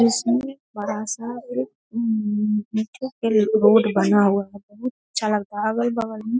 इस में बड़ा-सा एक अम बसों के लिए रोड बना हुआ है बहुत अच्छा लगता है वही बगल में